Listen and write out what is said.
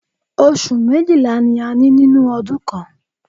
Oṣù méjìlá ni a ní nínú ọdún kan.